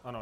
Ano.